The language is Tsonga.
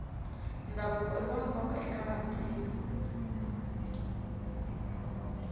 ndhavuko iwa nkoka eka vantima